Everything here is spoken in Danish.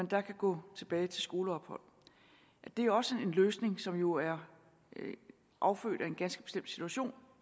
kan gå tilbage til skoleophold at det også er en løsning som jo er affødt af en ganske situation